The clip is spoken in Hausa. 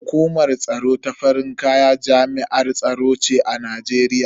Hukumar tsaro ta farin kaya jami'ar tsaro ce a Najeriya.